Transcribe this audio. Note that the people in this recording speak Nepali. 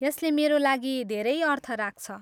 यसले मेरो लागि धेरै अर्थ राख्छ।